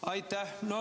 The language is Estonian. Aitäh!